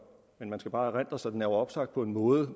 men man skal bare erindre sig at den er opsagt på en måde